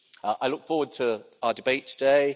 I look forward to our debate today.